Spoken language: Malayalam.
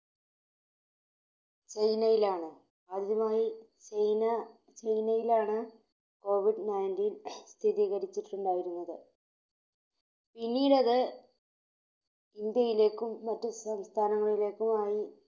ചൈനയിലാണ് ആദ്യമായി ചൈന~ചൈനയിലാണ് Covid നയൻറ്റീൻ സ്ഥിരീകരിച്ചിട്ടുണ്ടായിരുന്നത്. പിന്നീടത് ഇന്ത്യയിലേക്കും മറ്റു സംസ്ഥാനങ്ങളിലേക്കുമായി